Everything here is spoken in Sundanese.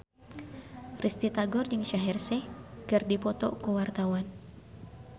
Risty Tagor jeung Shaheer Sheikh keur dipoto ku wartawan